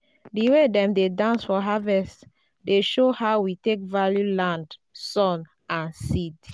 the way dem dey dance for harvest dey show how we take value land sun and seed.